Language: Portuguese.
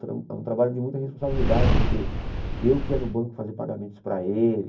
Tra era um trabalho de muita responsabilidade, porque eu que ia no banco fazer pagamentos para ele.